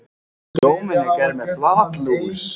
Hef fulla trú á honum núna.